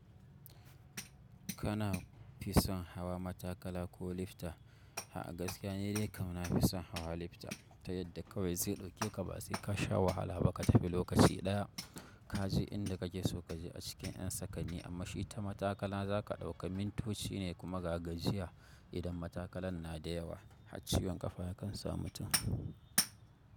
Kana fi son hawa matakala ko lifta? A’a gaskiya ne dai kam na fi son hawa lifta ta yadda kawai zai ɗauke ka ba sai ka sha wahala ba ka tafi lokaci ɗaya. Ka je inda kake so kaje a cikin yan sakanni amma shi ta matakala za ka ɗauka mintoci ne kuma ga gajiya. Idan matakalan na da yawa, har ciwon ƙafa ya kan sa mutum.